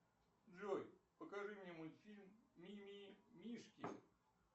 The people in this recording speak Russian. джой покажи мне мультфильм мимимишки